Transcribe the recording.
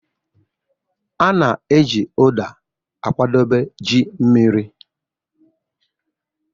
A na-eji Uda akwadebe ji mmiri